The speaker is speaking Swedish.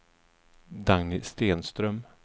Dagny Stenström